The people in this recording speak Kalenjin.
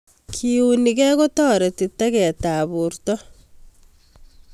keunekei kotoreti teket ap porto